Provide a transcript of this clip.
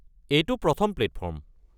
এইটো প্ৰথম প্লেটফৰ্ম।